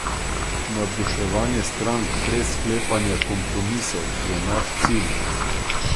Navduševanje strank brez sklepanja kompromisov je naš cilj.